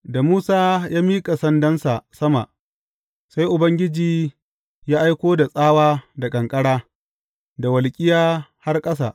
Da Musa ya miƙa sandansa sama, sai Ubangiji ya aiko da tsawa da ƙanƙara, da walƙiya har ƙasa.